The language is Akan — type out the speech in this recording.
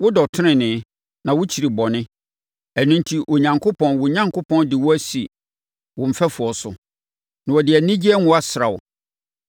Wodɔ tenenee, na wokyiri bɔne, ɛno enti, Onyankopɔn wo Onyankopɔn de wo asi wo mfɛfoɔ so, na ɔde anigyeɛ ngo asra wo.”